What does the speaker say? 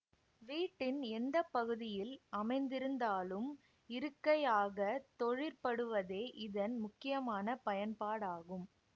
வீட்டின் எந்த பகுதியில் அமைந்திருந்தாலும் இருக்கையாகத் தொழிற்படுவதே இதன் முக்கியமான பயன்பாடாகும்